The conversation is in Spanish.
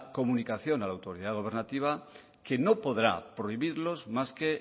comunicación a la autoridad gobernativa que no podrá prohibirlos más que